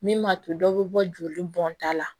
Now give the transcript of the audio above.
Min m'a to dɔw bɛ bɔ joli bɔnta la